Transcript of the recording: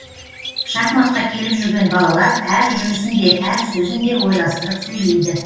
шахматқа келіп жүрген балалар әр жүрісін де әр сөзін де ойластырып сөйлейді